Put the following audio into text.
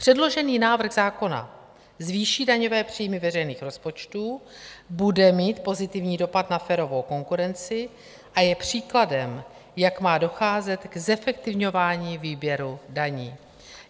Předložený návrh zákona zvýší daňové příjmy veřejných rozpočtů, bude mít pozitivní dopad na férovou konkurenci a je příkladem, jak má docházet k zefektivňování výběru daní.